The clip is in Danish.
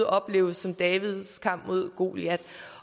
opleves som davids kamp mod goliat